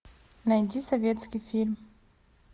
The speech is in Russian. найди советский фильм